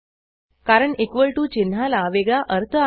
कारण equal to चिन्हाला वेगळा अर्थ आहे